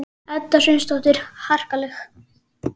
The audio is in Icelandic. Edda Sveinsdóttir: Harkaleg?